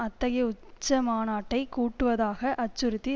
அத்தகைய உச்சமாநாட்டைக் கூட்டுவதாக அச்சுறுத்தி